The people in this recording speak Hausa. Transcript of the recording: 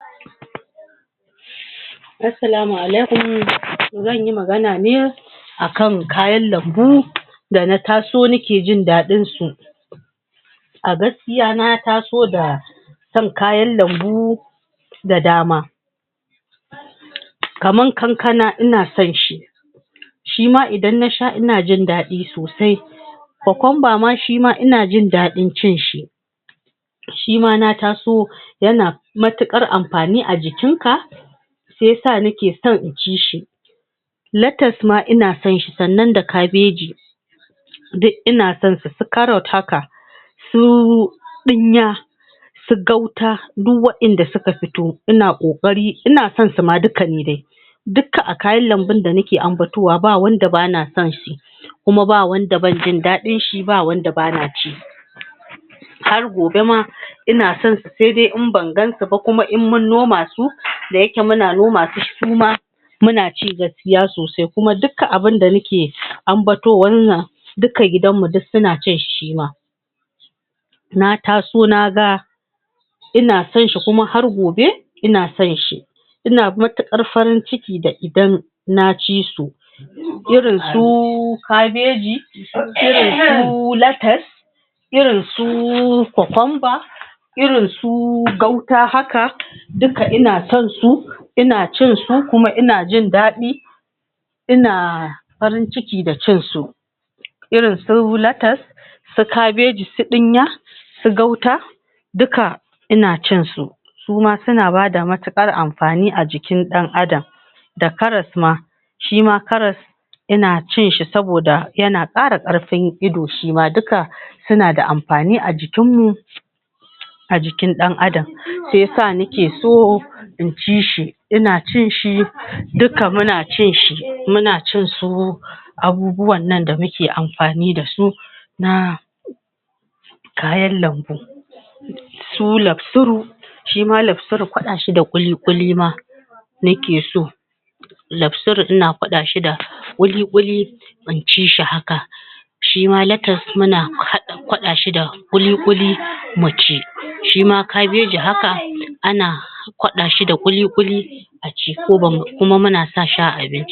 asalamu alaikum zan yi magana ne akan kayan lambu da na taso nakejin dadin su a gaskiya na taso da son kayan lambu da dama kaman kankana ina sonshi shima idan nasha ina jin dadi sosai kokumba shima inajin dadin cin shi shima na taso yana matuƙar amfani a jikin ka shiya sa nake so inci shi latas ma ina sonshi sannan da kabeji duk ina sonsu su karas su ɗinya su gauta duk wadanda suka fito ina ƙoƙari ina son duka ma dai duka akayan lambun da nake ambatowa ba wanda ba na sonshi kuma ba wanda bana jin dadin shi ba wanda bana ci har gobe ma inason su sai dai in bangansu ba ko in mun noma su daya ke muna noma su muma muna ci gaskiya sosai kuma duka muke ambato wannan duka gidan suna cin shi suma na taso naga ina sonshi kuma har gobe in asonshi ina matukar farin ciki da idan nacisu irin su kabeji? irinsu latas irin su kukumba irin su gauta hak duka ina son su ina cinsu kuma in ajin dadin ina farin ciki da cinsu irinn su lataa su kabeji su dinya duka ina cinsu suma suna bada matuƙar amfani a jikin dan adam da karas ma shima karas ina cinshi saboda yana kara ƙarfin ido shima duka suna da amfani a jikin mu ajikin dan adam shiyasa nakeso in cishi ina cin shi duka muna cin shi muna cin su abubuwan nan da muke amfani dasu na kayan lambu su lak suru shima laksuru ƙwadashi da ƙuli ƙuli ma na ke so laksuru ina ƙwadashi da ƙuliƙuli inci shi haka shima latas muna hada shi da kulikuli kulikuli muci shima kabeji haka ana kwada kwadashi da kulikuli kuma muna sashi a abinci